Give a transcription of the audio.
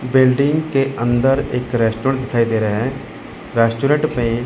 Building के अंदर एक रेस्टोरेंट दिखाई दे रहा है। रेस्टोरेंट में --